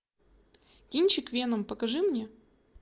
кинчик веном покажи мне